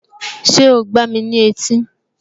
Ṣé o gbáa ní etí?